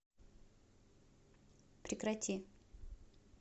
прекрати